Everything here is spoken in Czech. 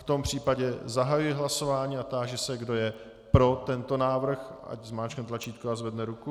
V tom případě zahajuji hlasování a táži se, kdo je pro tento návrh, ať zmáčkne tlačítko a zvedne ruku.